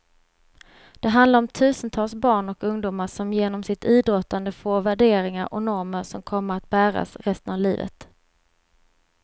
Det handlar om tusentals barn och ungdomar som genom sitt idrottande får värderingar och normer som kommer att bäras resten av livet.